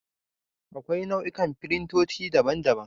Akwai nau'ikan firintoci, daban daban.